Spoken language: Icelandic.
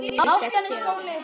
rúmum sextíu árum áður.